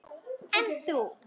En þú?